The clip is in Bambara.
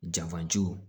Janfajiw